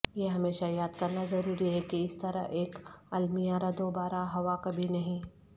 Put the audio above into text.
یہ ہمیشہ یاد کرنا ضروری ہے کہ اس طرح ایک المیہ دوبارہ ہوا کبھی نہیں